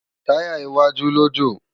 Tàyá iwájú lo jó